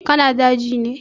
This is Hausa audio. Ka na daji ne?